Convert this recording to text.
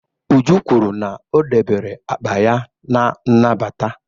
Uju kwuru na o debere akpa ya na nnabata.